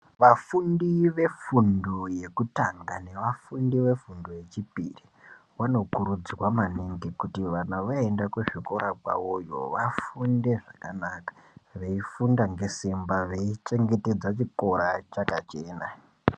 Vafundi vefundo yekutanga nevafundi vefundo yechipiri vanokurudzirwa maningi kuti kana voenda kuzvikora kwavoyo vafunde zvakanaka veifunda ngesimba veichengetedza chikora chakachena.